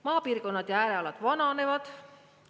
Maapiirkonnad ja äärealad vananevad.